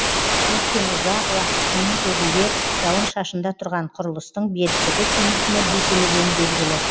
өйткені ұзақ уақыт күннің көзінде жауын шашында тұрған құрылыстың беріктігі кемитіні бесенеден белгілі